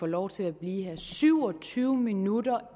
lov til at blive her men syv og tyve minutter